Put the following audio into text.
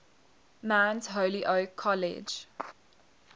mount holyoke college